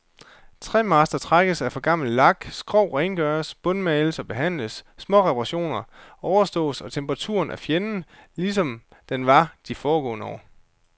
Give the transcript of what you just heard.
Træmaster trækkes af for gammel lak, skrog rengøres, bundmales og behandles, småreperationer overstås, og temperaturen er fjenden, lige som den var det de foregående år.